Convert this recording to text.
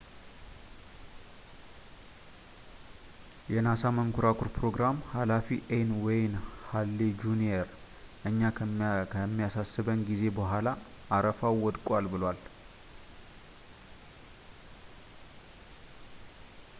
የናሳ መንኮራኩር ፕሮግራም ሃላፊ ኤን ዌይን ሀሌ ጁኒየር እኛ ከሚያሳስበን ጊዜ በኋላ አረፋው ወድቋል ብለዋል